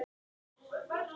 SKÚLI: Hvað viltu gera?